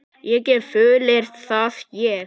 Ég get fullyrt það, ég.